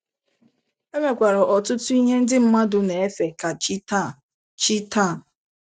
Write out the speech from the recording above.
E nwekwara ọtụtụ ihe ndị mmadụ na - efe ka chi taa. chi taa.